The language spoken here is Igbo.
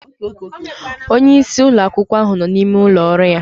Onye isi ụlọ akwụkwọ ahụ nọ n'ime ụlọ ọrụ ya